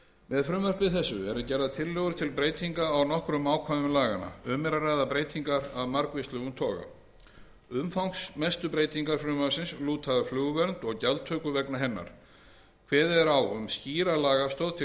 með frumvarpi þessu eru gerðar tillögur til breytinga á nokkrum ákvæðum laganna um er að ræða breytingar af margvíslegum toga umfangsmestu breytingar frumvarpsins lúta að flugvernd og gjaldtöku vegna hennar kveðið er á um skýrari lagastoð til